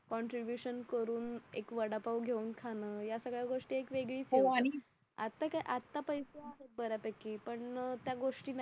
ब्यूकॉन्ट्रीशन करून एक वडापाव घेऊन खाणं या सगळ्या गोष्टी एक वेगळीच आत्ता काय आत्ता पैसे आहेत बऱ्यापैकी पण त्या गोष्टी नाही